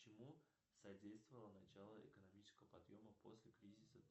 чему содействовало начало экономического подъема после кризиса